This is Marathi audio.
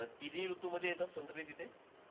अं तिन्ही ऋतूमध्ये येतात संत्री तिथे?